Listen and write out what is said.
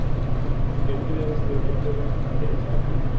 Skemmtilegasti völlurinn að heimsækja?